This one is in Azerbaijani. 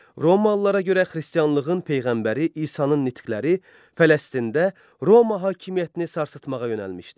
Romalılara görə Xristianlığın peyğəmbəri İsanın nitqləri Fələstində Roma hakimiyyətini sarsıtmağa yönəlmişdi.